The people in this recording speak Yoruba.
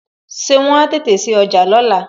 Ṣé wọn ó tètè sí ọjà lóla?